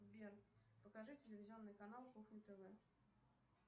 сбер покажи телевизионный канал кухня тв